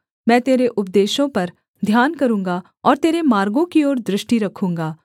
मैं तेरे उपदेशों पर ध्यान करूँगा और तेरे मार्गों की ओर दृष्टि रखूँगा